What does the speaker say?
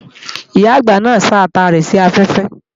Ìyá-àgbà náà ń sá ata rẹ̀ sí afẹ́fẹ́